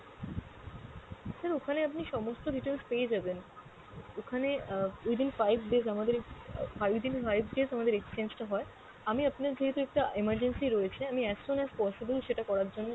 sir ওখানে আপনি সমস্ত details পেয়ে যাবেন। ওখানে আহ within five days আমাদের আহ five days আমাদের exchange টা হয়, আমি আপনার যেহেতু একটা emergency রয়েছে আমি as soon as possible সেটা করার জন্যে